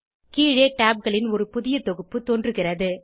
கீழே tabகளின் ஒரு புதிய தொகுப்பு தோன்றுகிறது